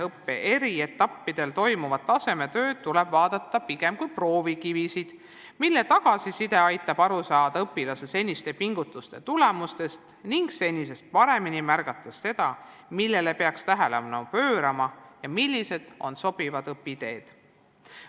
Õppe eri etappidel tehtavaid tasemetöösid tuleb vaadata pigem kui proovikivisid, mille tagasiside aitab aru saada õpilase seniste pingutuste tulemustest ning senisest paremini märgata seda, millele peaks tähelepanu pöörama ja millised on sobivad õpiteed.